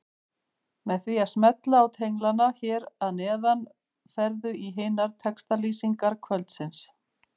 Með því að smella á tenglana hér að neðan ferðu í hinar textalýsingar kvöldsins.